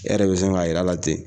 E yɛrɛ bɛ sin ka yira la ten.